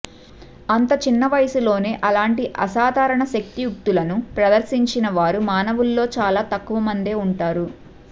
అంత చిన్న వయస్సులోనే అలాంటి అసాధారణ శక్తియుక్తులను ప్రదర్శించిన వారు మానవుల్లో చాలా తక్కువమందే ఉంటారు